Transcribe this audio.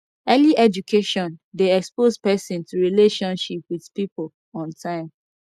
early education de expose persin to relationship with pipo on time